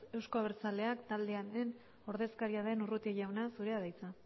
euzko abertzaleak taldearen ordezkaria den urrutia jauna zurea da hitza